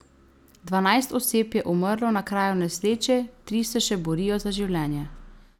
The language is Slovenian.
Dvanajst oseb je umrlo na kraju nesreče, tri se še borijo za življenje.